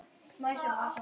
Beygir sig saman.